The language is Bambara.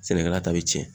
Sɛnɛkɛla ta bɛ cɛn